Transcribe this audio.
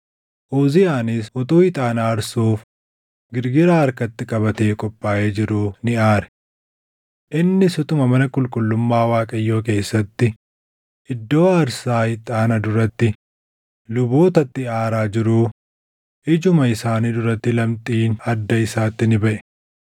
Uziyaanis utuu ixaana aarsuuf girgiraa harkatti qabatee qophaaʼee jiruu ni aare. Innis utuma mana qulqullummaa Waaqayyoo keessatti iddoo aarsaa ixaana duratti lubootatti aaraa jiruu ijuma isaanii duratti lamxiin adda isaatti ni baʼe.